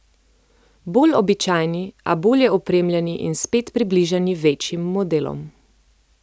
Bolj običajni, a bolje opremljeni in spet približani večjim modelom.